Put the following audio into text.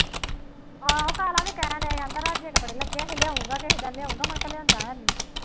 ਆਹੋ ਕਾਲਾ ਵੀ ਕਹਿਣ ਡਿਆ ਸੀ ਬੜੇ ਲੱਗੇ ਹੈ, ਲਿਆਊਂਗਾ ਕਿਸੇ ਦਿਨ ਲਿਆਊਂਗਾ ਮੁੜਕੇ ਲਿਆਊਂਦਾ ਹੈ ਨਹੀਂ